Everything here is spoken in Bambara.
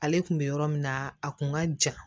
Ale kun bɛ yɔrɔ min na a kun ka jan